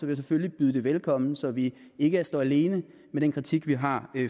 jeg selvfølgelig byde det velkommen så vi ikke står alene med den kritik vi har